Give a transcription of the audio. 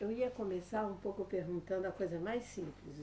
Eu ia começar um pouco perguntando a coisa mais simples.